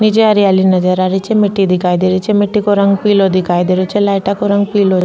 निचे हरियाली नजर आ रही छे मिट्टी दिखाई देरही छे मिट्टी को रंग पिलो दिखाई दे रो छे लाइटा को रंग पिलो --